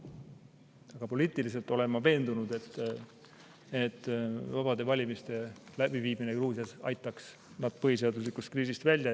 Aga poliitilises mõttes olen ma veendunud, et vabade valimiste läbiviimine Gruusias aitaks nad põhiseaduslikkuse kriisist välja.